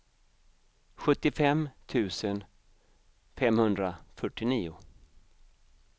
sjuttiofem tusen femhundrafyrtionio